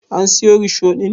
An siyo risho ɗin?